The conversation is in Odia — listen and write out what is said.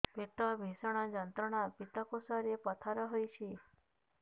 ପେଟ ଭୀଷଣ ଯନ୍ତ୍ରଣା ପିତକୋଷ ରେ ପଥର ହେଇଚି